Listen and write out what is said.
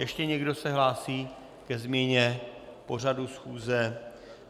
Ještě někdo se hlásí ke změně pořadu schůze?